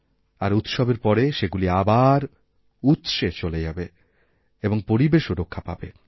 আর উৎসবের পরে সেগুলি আবার উৎসেচলে যাবে এবং পরিবেশও রক্ষা পাবে